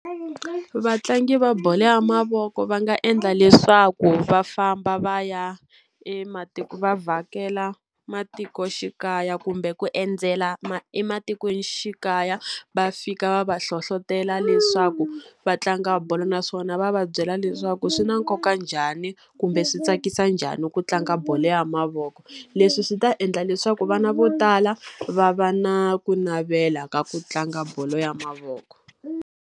Vatlangi va bolo ya mavoko va nga endla leswaku va famba va ya vhakela matikoxikaya kumbe ku endzela ematikoxikaya, va fika va va hlohletela leswi swa ku va tlanga bolo. Naswona va va byela leswaku swi na nkoka njhani kumbe swi tsakisa njhani ku tlanga bolo ya mavoko. Leswi swi ta endla leswaku vana vo tala, va va na ku navela ka ku tlanga bolo ya mavoko.